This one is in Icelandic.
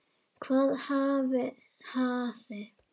Hvað hafði